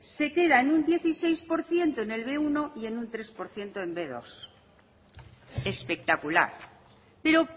se queda en un dieciséis por ciento en el be uno y en un tres por ciento en el be dos espectacular pero